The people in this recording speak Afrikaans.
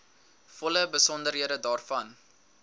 volle besonderhede daarvan